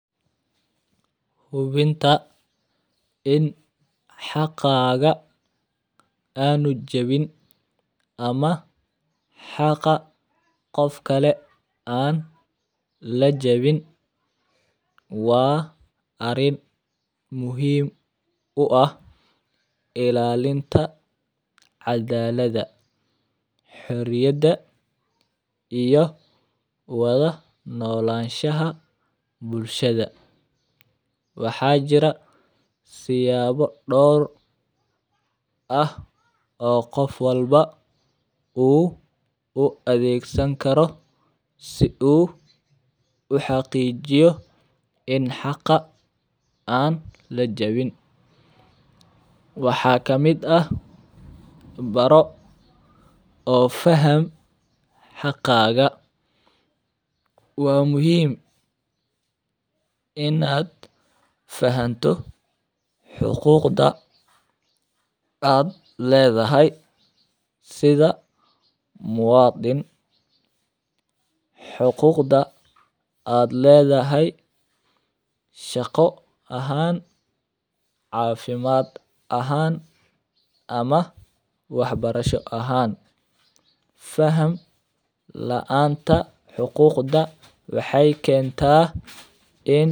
Hubinta in xaqaaqa aan u jebin ama xaqa qof kale aan la jebin waa arrin muhiim u ah ilaalinta cadaalada, xuriyadda iyo waddo noloshaha bulshada. Waxaa jira siyaabo dhowr ah oo qof walba uu u adeegsan karo si uu xaqiijiyo in xaqa aan la jebin. Waxaa ka mid ah baro oo faham xaqaaga? Waa muhim ah in aad fahanto xuquuqda aad leedahay sida muwaadin. Xuquuqda aad leedahay shaqo ahaan, caafimaad ahaan ama waxbarasho ahaan. Faham la'aanta xuquuqda waxay keenta in-